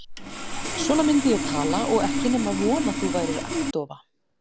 Svona myndi ég tala og ekki nema von að þú værir agndofa.